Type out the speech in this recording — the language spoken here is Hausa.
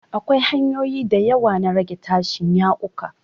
Akwai hanyoyi da yawa na rage tashin yaƙuka.